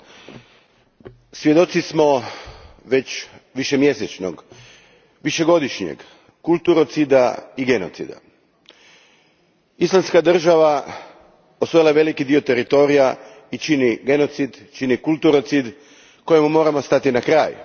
Gospođo predsjedavajuća, svjedoci smo već višemjesečnog, višegodišnjeg kulturocida i genocida. Islamska je država osvojila velik dio teritorija i čini genocid, čini kulturocid kojemu moramo stati na kraj.